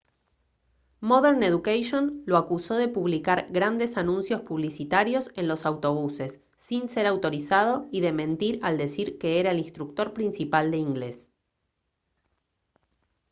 modern education lo acusó de publicar grandes anuncios publicitarios en los autobuses sin ser autorizado y de mentir al decir que era el instructor principal de inglés